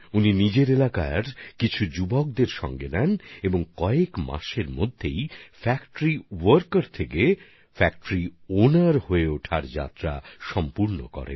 তিনি নিজের এলাকার কিছু যুবকদের সঙ্গে নেন এবং কিছুদিনের মধ্যেই কারখানার কর্মী থেকে মালিক হওয়ার পথ অতিক্রম করেন